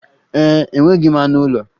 Ee e, enweghị m anụ ụlọ.